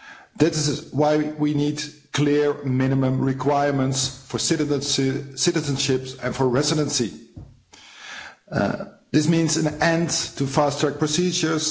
This is why we need clear minimum requirements for citizenships and for residency. This means an end to fast-track procedures.